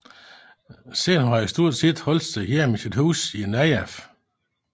Siden har han stort set holdt sig hjemme i sit hus i Najaf